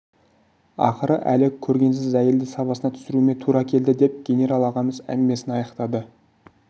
ақыры әлі көргенсіз әйелді сабасына түсіруіме тура келді деп генерал ағамыз әңгімесін аяқтады